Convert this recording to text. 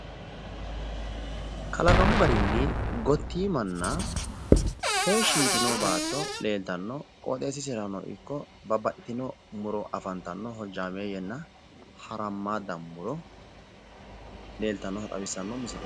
kalaqamu garinni gottiimanna heeshshi yitino baatto leeltanno qooxxeessisera ikko babbaxxitino muro afantanno hojjaameeyyenna harammaadda muro leeltannota xawissanno misileeti.